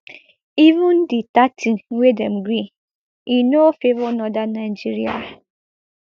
even di thirty wey dem gree e no favour northern nigeria